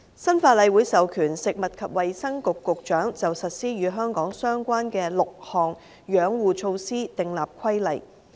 新法例會授權食物及衞生局局長，就實施與香港相關的6項養護措施訂立規例。